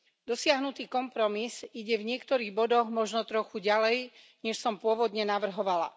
Dosiahnutý kompromis ide v niektorých bodoch možno trochu ďalej, než som pôvodne navrhovala.